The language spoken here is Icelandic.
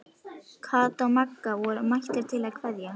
Kata og Magga voru mættar til að kveðja.